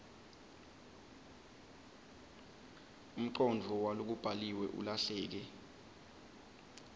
umcondvo walokubhaliwe ulahleke